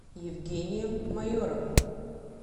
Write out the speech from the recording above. евгением майоровым